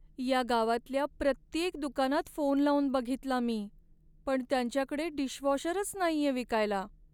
या गावातल्या प्रत्येक दुकानात फोन लावून बघितला मी, पण त्यांच्याकडे डिशवॉशरच नाहीये विकायला.